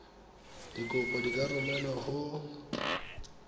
dikopo di ka romelwa go